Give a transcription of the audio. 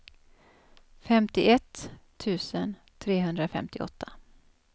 femtioett tusen trehundrafemtioåtta